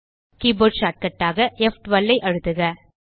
keyboard shortcut ஆக ப்12 ஐ அழுத்துக